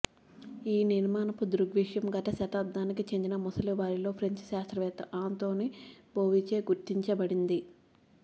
ఈ నిర్మాణపు దృగ్విషయం గత శతాబ్దానికి చెందిన ముసలివారిలో ఫ్రెంచ్ శాస్త్రవేత్త అంటోని బోవిచే గుర్తించబడింది